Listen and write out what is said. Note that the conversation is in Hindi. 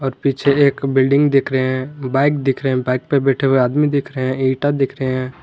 और पीछे एक बिल्डिंग दिख रहे हैं बाइक दिख रहे हैं बाइक पर बैठे हुए आदमी दिख रहे हैं इंटा दिख रहे हैं।